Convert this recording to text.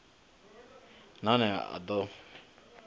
na one a d o